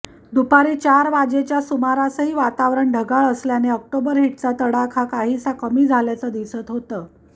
दुपारी चार वाजेच्या सुमारासही वातावरण ढगाळ असल्याने ऑक्टोबर हिटचा तडाखा काहीसा कमी झाल्याचं दिसत होतं